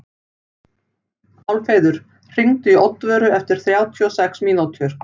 Álfheiður, hringdu í Oddvöru eftir þrjátíu og sex mínútur.